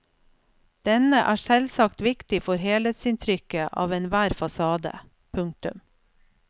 Denne er selvsagt viktig for helhetsinntrykket av enhver fasade. punktum